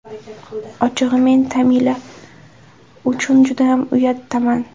Ochig‘i men Tamila uchun judayam uyatdaman.